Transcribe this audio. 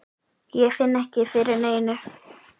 Ég finn ekki fyrir neinu.